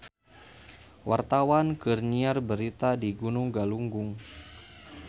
Wartawan keur nyiar berita di Gunung Galunggung